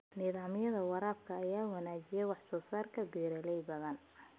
Nidaamyada waraabka ayaa wanaajiya wax-soo-saarka beeralay badan.